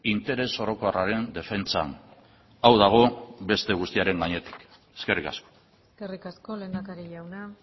interes orokorraren defentsan hau dago beste guztiaren gainetik eskerrik asko eskerrik asko lehendakari jauna